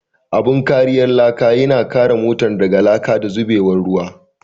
Abun kariyar laka yana kare motar daga laka da zubewar ruwa.